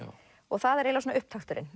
það er eiginlega svona upptakturinn